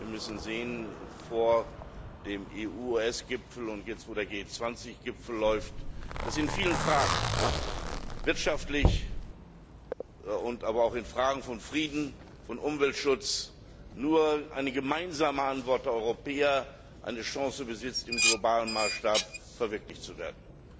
Wir müssen sehen vor dem EU US Gipfel und jetzt, wo der G20 Gipfel läuft dass in vielen Fragen wirtschaftlich, aber auch in Fragen von Frieden und Umweltschutz nur eine gemeinsame Antwort der Europäer eine Chance besitzt, im globalen Maßstab verwirklicht zu werden.